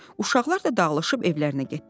Uşaqlar da dağılışıb evlərinə getdilər.